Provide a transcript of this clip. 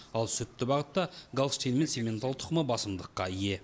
ал сүтті бағытта голштин мен симментал тұқымы басымдыққа ие